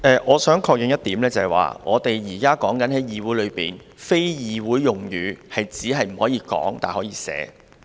我想確認一點，我們現在在議會內，非議會用語只是不可以說，但可以寫，對嗎？